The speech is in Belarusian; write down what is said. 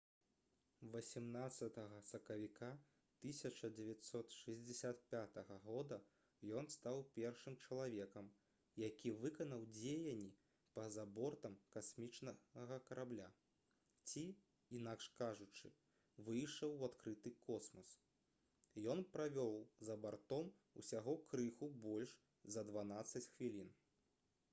18 сакавіка 1965 года ён стаў першым чалавекам які выканаў дзеянні па-за бортам касмічнага карабля ці інакш кажучы выйшаў у адкрыты космас ён правеў за бортам усяго крыху больш за дванаццаць хвілін